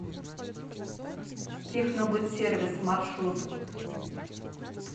технобытсервис маршрут